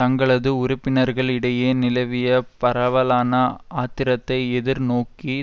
தங்களது உறுப்பினர்கள் இடையே நிலவிய பரவலான ஆத்திரத்தை எதிர் நோக்கிய